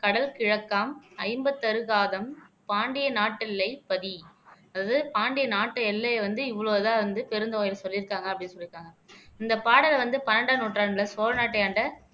கடல் கிழக்காம் ஐம்பத்தறு காதம் பாண்டிய நாட்டில்லை பதி அது பாண்டிய நாட்டு எல்லையை வந்து இவ்வளவுதான் வந்து பெருந்தொகைகள் சொல்லியிருக்காங்க அப்படின்னு சொல்லியிருக்காங்க இந்த பாடலை வந்து பன்னெண்டாம் நூற்றாண்டுல சோழநாட்டியாண்ட